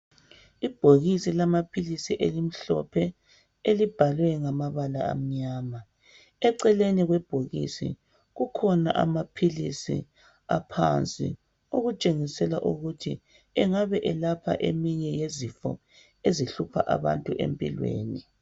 Ibhokisi lamaphilisi elimhlophe elibhalwe ngamabala amnyama. Eceleni kwebhokisi kukhona amaphilisi aphansi okutshengisela ukuthi engabe elapha eminye yezifo ezihlupha abantu empilweni.